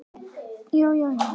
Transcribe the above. Hvar skal byrja?